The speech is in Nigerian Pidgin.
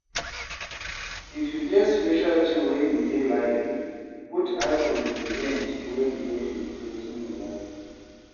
If you get special thing wey you dey like, put eye for di event wey relate with wetin you like